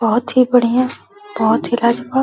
बहोत ही बढियाँ बहोत ही लाजवाब।